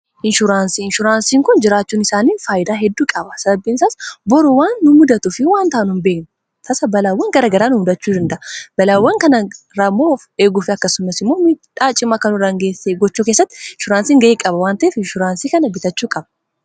Inshuraansii, inshuraansiin kun jiraachuun isaanii faayidaa hedduu qaba . sababni isaas boru waan nu mudatu fi waan taanu hin beekin tasa balaawwan garagaraa nu mudachuu danda'a. balaawwan kana ofirraa eeguu fi akkasummas immoo midhaa cimaa kana hin geessine gochuu keessatti inshuraansiin ga'ee qaba waan ta'efi inshuraansii kana bitachuu qaba.